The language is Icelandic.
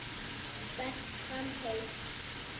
Berist fram heitt.